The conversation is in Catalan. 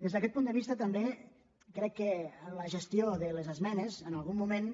des d’aquest punt de vista també crec que en la ges·tió de les esmenes en algun moment